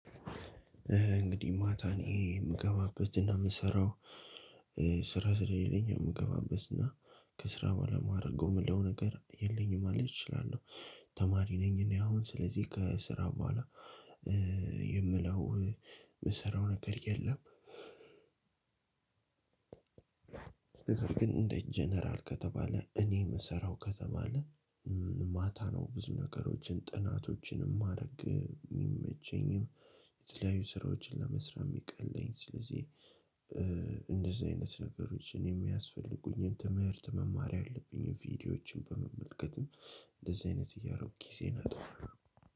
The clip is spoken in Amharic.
እንግዲህ ማታን ይሄ የምገባበትና የምሰራው ስራ ስለሌለኝ የምገባበትና ከስራ በኋላ የማደርገው ምለው ነገር የለኝም ማለት እችላለሁ። ተማሪ ነኝ እኔ አሁን ስለዚህ ከስራ በኋላ የምለው የምሰራው ነገር የለም። ነገር ግን እንደ ጀነራል ከተባለ እኔ የምሰራው ከተማ ነህ ማታ ነው ብዙ ነገሮችን ጥናቶችንም ማድረግ የሚመቸኝም የተለያዩ ስራዎችን ለመስራት የሚቀለኝ ስለዚህ እንደዚህ አይነት ነገሮችን የሚያስፈልጉኝ ትምህርት መማር ያህል ቭድዮዎችን መመልከትም እንደዚ አይነት እያረኩ ግዜየን አጠፋለው።